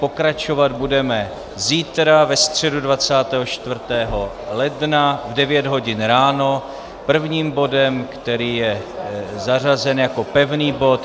Pokračovat budeme zítra, ve středu 24. ledna, v 9 hodin ráno prvním bodem, který je zařazen jako pevný bod.